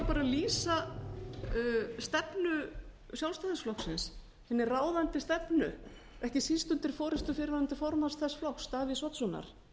bara að lýsa stefnu sjálfstæðisflokksins hinni ráðandi stefnu ekki síst undir forustu fyrrverandi formanns þess flokks davíðs oddssonar